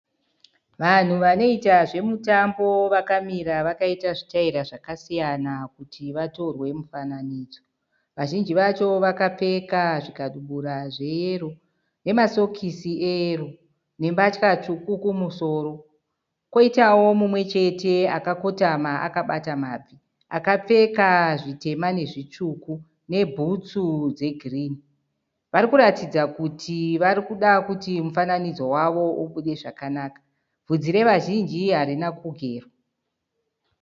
Vanhu vanoita zvemutambo vakamira vakaita zvitaira kuti vatorwe mufananidzo. Vazhinji vacho vakapfeka zvikadubura zveyero nemasokisi eyero nembatya tsvuku kumusoro. Kwoitawo mumwe chete akakotama akabata mabvi akapfeka zvitema nezvitsvuku nebhutsu dzegirini. Vari kuratidza kuti vari kuda kuti mufananidzo wavo ubude zvakanaka. Bvunzi revazhinji harina kugerwa.